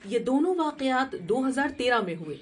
یہ دونوں واقعات دو ہزار تیرہ میں ہوئے